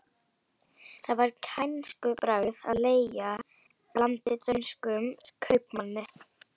Það var kænskubragð að leigja landið dönskum kaupmanni.